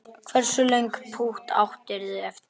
Hversu löng pútt áttirðu eftir?